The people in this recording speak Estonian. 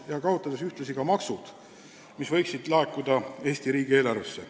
Nii kaotame ka maksud, mis võiksid laekuda Eesti riigi eelarvesse.